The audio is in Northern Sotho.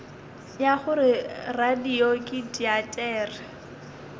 ya gore radio ke teatere